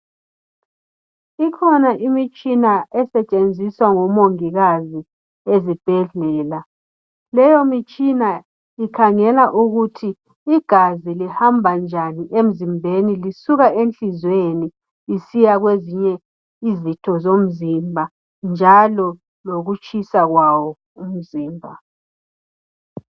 Ikhona imitshina esetshenziswa ngomongikazi ezibhedlela. Leyo mitshina ikhangela ukuthi igazi lihamba njani emzimbeni lisuka enhlizweni lisiya kwezinye izitho zomzimba njalo lokutshisa kwawo umzimba.